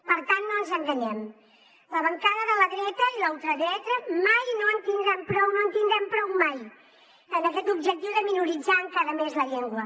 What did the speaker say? per tant no ens enganyem les bancades de la dreta i la ultradreta mai no en tindran prou no en tindran prou mai en aquest objectiu de minoritzar encara més la llengua